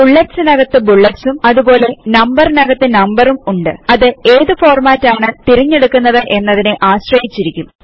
bullets നു അകത്തു ബുല്ലെറ്സും അതുപോലെ നമ്പർ നു അകത്തു നമ്പറും ഉണ്ട് അത് ഏതു ഫോർമാറ്റ് ആണ് തിരഞ്ഞെടുക്കുന്നത് എന്നതിനെ ആശ്രയിച്ചിരിക്കും